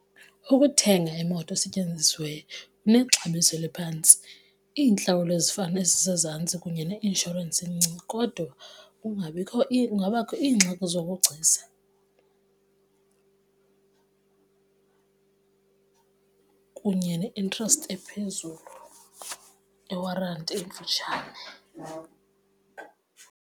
Ukuthenga imoto esetyenzisiweyo kunexabiso eliphantsi, iintlawulo ezifana nezisezantsi kunye neinshorensi encinci kodwa kungabikho kungabakho iingxaki zobugcisa kunye ne-interest ephezulu ne-warranty emfutshane.